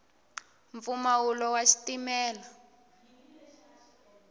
mpfumawulo wa xitimela